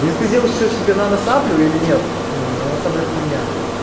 если взял что себе нано саблю или нет нет нано сабля хуйня